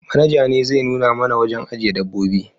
Manaja ne zai nuna mana wurin ajiye dabbobi